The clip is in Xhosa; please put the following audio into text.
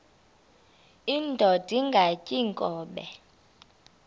indod ingaty iinkobe